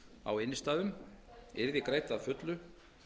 á innstæðunum yrði greidd að fullu